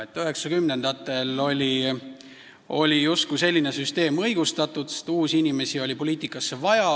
1990-ndatel oli selline süsteem justkui õigustatud, sest poliitikasse oli vaja uusi inimesi.